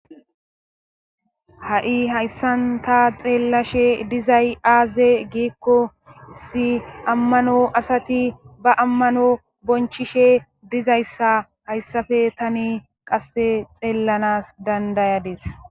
ha7i hayssanta xeellashe dizay aaze giikko si ammano asati ba ammano bonchishe dizayssa hayssafe tani qasse xeellanas dandayades